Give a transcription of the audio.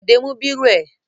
Bọ̀dé mú bírò ẹ?